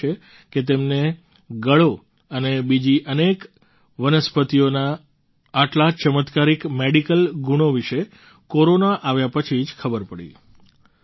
તેમણે લખ્યું છે કે તેમને ગળો અને બીજી અનેક વનસ્પતિઓના આટલા ચમત્કારિક મેડિકલ ગુણો વિશે કોરોના આવ્યા પછી જ ખબર પડી